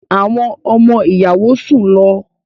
Àwọn ọmọ-ìyàwó sùn lọ.